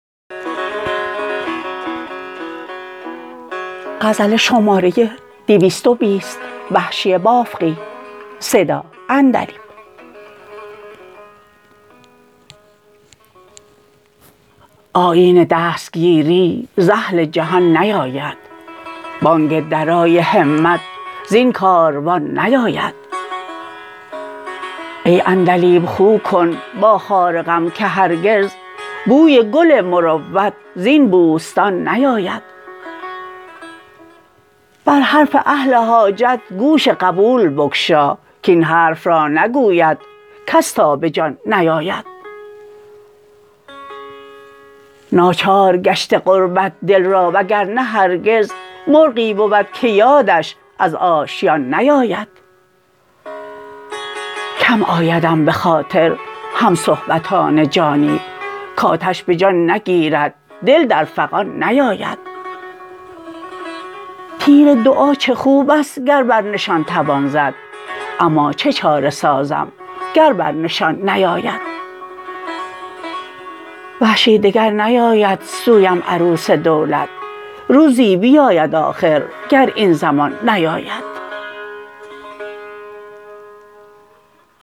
آیین دستگیری ز اهل جهان نیاید بانگ درای همت زین کاروان نیاید ای عندلیب خو کن با خار غم که هرگز بوی گل مروت زین بوستان نیاید بر حرف اهل حاجت گوش قبول بگشا کاین حرف را نگوید کس تا به جان نیاید ناچار گشته غربت دل را و گرنه هرگز مرغی بود که یادش از آشیان نیاید کم آیدم به خاطر همصحبتان جانی کاتش به جان نگیرد دل در فغان نیاید تیر دعا چه خوبست گر بر نشان توان زد اما چه چاره سازم گر بر نشان نیاید وحشی دگر نیاید سویم عروس دولت روزی بیاید آخر گر این زمان نیاید